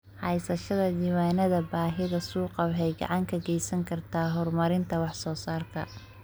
Haysashada diiwaannada baahida suuqa waxay gacan ka geysan kartaa horumarinta wax soo saarka.